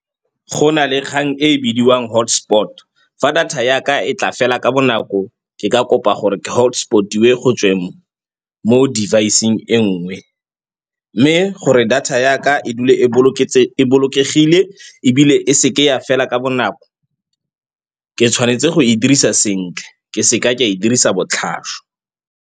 Go na le kgang e e bidiwang hotspot. Fa data ya ka e tla fela ka bonako ke ka kopa gore ke hotspot-iwe go tsweng mo device-eng e nngwe. Mme gore data ya ka e dule e bolokegile ebile e seke ya fela ka bonako, ke tshwanetse go e dirisa sentle ke seka ka e dirisa botlhaswa.